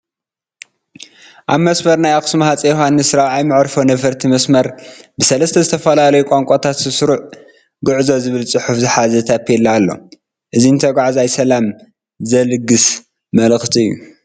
ኣብ መስመር ናይ ኣኽሱም ሃፀይ ዮሃንይ 4ይ መዕርፎ ነፈርቲ መስመር ብሰለስተ ዝተፈላለዩ ቋንቋት ሰናይ ጉዕዞ ዝብል ፅሑፍ ዝሓዘ ታፔላ ኣሎ፡፡ እዚ ንተጓዓዛይ ሰላም ዝልግስ መልእኽቲ እዩ፡፡